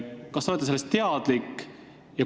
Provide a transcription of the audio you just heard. Kas te olete sellest teadlik?